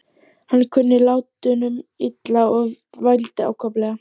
Hann kunni látunum illa og vældi ákaflega.